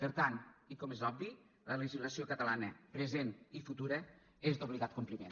per tant i com és obvi la legislació catalana present i futura és d’obligat compliment